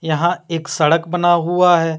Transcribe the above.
यहां एक सड़क बना हुआ है।